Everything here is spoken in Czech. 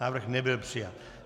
Návrh nebyl přijat.